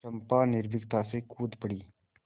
चंपा निर्भीकता से कूद पड़ी